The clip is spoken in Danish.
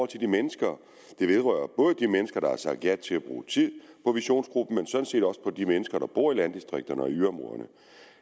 til de mennesker det vedrører både de mennesker der har sagt ja til at bruge tid på visionsgruppen og set også for de mennesker der bor i landdistrikterne og i yderområderne